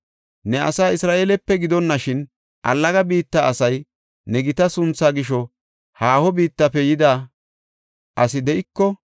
“Ne asaa Isra7eelepe gidonashin, allaga biitta asay, ne gita sunthaa gisho haaho biittafe yida asi de7iko,